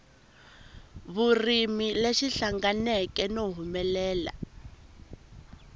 vurimi lexi hlanganeke no humelela